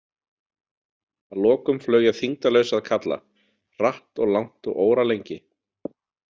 Að lokum flaug ég þyngdarlaus að kalla, hratt og langt og óralengi.